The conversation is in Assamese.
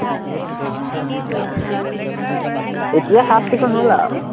এতিয়া চাফ-চিকুন হল আৰু